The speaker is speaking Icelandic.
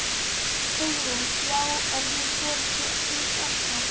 Hugrún: Já, er hún svolítið heit ennþá?